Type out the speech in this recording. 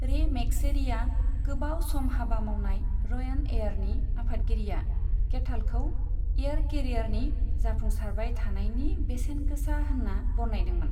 रे मेकशेरिया, गोबाव सम हाबा मावनाय रयान एयारनि आफादगिरिआ केथालखौ एयार केरियारनि जाफुंसारबाय थानायनि बेसेन गोसा होनना बरनायदोंमोन।